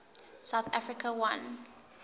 south africa won